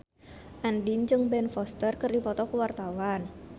Andien jeung Ben Foster keur dipoto ku wartawan